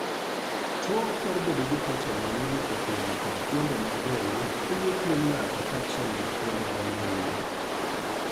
Tuo mar bedo gi proten mang'eny e pien kod fuonde mag del hinyo pien ng'ato kaachiel gi fuonde manie iye.